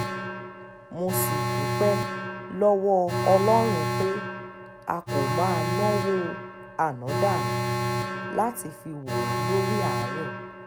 mo sì dúpẹ́ lọ́wọ́ ọlọ́run pé a kò máa náwó ànádànù láti fi wò ó lórí àárẹ̀